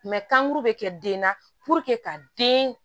kankuru bɛ kɛ den na ka den